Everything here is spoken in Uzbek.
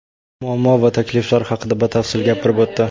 muammo va takliflar haqida batafsil gapirib o‘tdi.